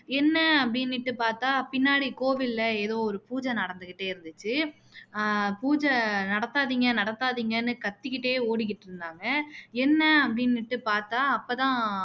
என்ன அப்படின்னுட்டு பாத்தா பின்னாடி எதோ ஒரு பூஜை நடந்துக்கிட்டே இருந்துச்சு பூஜை நடத்தாதீங்க நடத்தாதீங்கன்னு கத்திக்கிட்டே ஓடிக்கிட்டு இருந்தாங்க என்ன அப்படினுட்டு பாத்தா அப்ப தான்